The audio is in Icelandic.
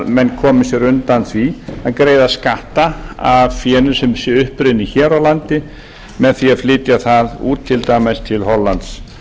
menn komi sér undan því að greiða skatta af fénu sem sé upprunnið hér á landi með því að flytja það út til dæmis til hollands